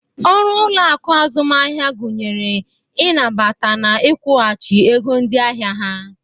Ọrụ ụloaku azụmahịa gụnyere i nabata na ịkwụghachị ego ndị ahịa ha.